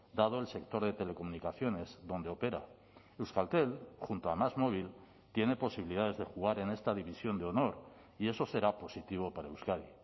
dado el sector de telecomunicaciones donde opera euskaltel junto a másmóvil tiene posibilidades de jugar en esta división de honor y eso será positivo para euskadi